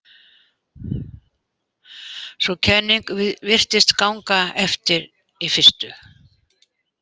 Sú kenning virtist ganga eftir í fyrstu.